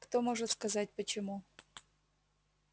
кто может сказать почему